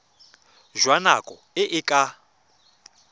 jwa nako e e ka